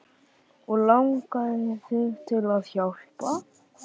Og langaði þig til að hjálpa?